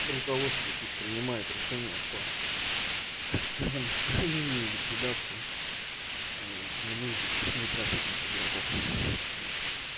руководство пусть принимает решения по так скажем устранению и ликвидации ненужных непрофильных игроков